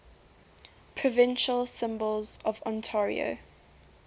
provincial symbols of ontario